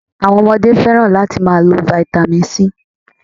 Àwọn Ọmọdé fẹ́ràn láti máa n lo vitamin C